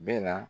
Bɛ na